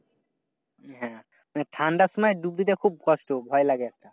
হ্যাঁ মানে ঠান্ডার সময় ডুব দিতে খুব কষ্ট ভয় লাগে।